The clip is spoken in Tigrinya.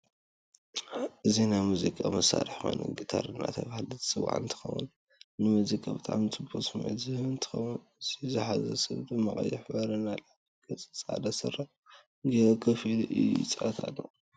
እዚናይ መዝቃ መሳርሕ ኮይኑ ግታር እድተበሃለ ዝፅዋዕ እንትከውን ንመዝቃ ብጣዓሚ ፅቡቅ ስምዒት ዝህብ እንትከውን እዚ ዝሓዞ ሰብ ድማ ቀይሕ ሕብሪ ናይ ላዕሊ ገይሩ ፃዕዳ ስረ ገይሩ ከፍ ኢሉ ይፃወት ኣሎ።